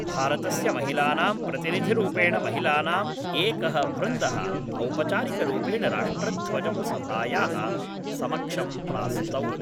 भारतस्य महिलानां प्रतिनिधिरूपेण महिलानाम् एकः वृन्दः औपचारिकरूपेण राष्ट्रध्वजं सभायाः समक्षं प्रास्तौत्